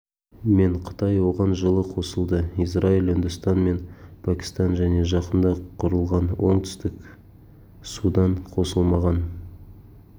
мен қытай оған жылы қосылды израиль үндістан мен пәкістан және жақында құрылған оңтүстік судан қосылмаған